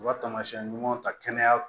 U ka taamasiyɛn ɲumanw ta kɛnɛya